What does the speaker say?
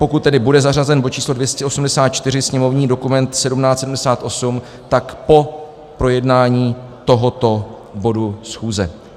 Pokud tedy bude zařazen bod číslo 284, sněmovní dokument 1778, tak po projednání tohoto bodu schůze.